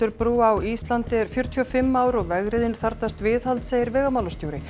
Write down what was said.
brúa á Íslandi er fjörutíu og fimm ár og vegriðin þarfnast viðhalds segir vegamálastjóri